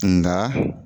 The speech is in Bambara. Nka